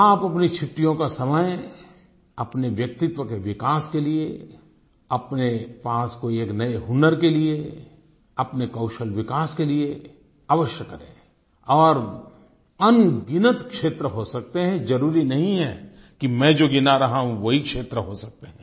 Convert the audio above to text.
आप अपनी छुट्टियों का समय अपने व्यक्तित्व के विकास के लिए अपने पास कोई एक नए हुनर के लिए अपने कौशलविकास के लिए अवश्य करें और अनगिनत क्षेत्र हो सकते हैं जरुरी नहीं है कि मैं जो गिना रहा हूँ वही क्षेत्र हो सकते है